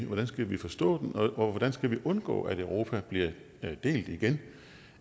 hvordan skal vi forstå den og hvordan skal vi undgå at europa bliver delt igen